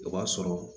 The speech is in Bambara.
O b'a sɔrɔ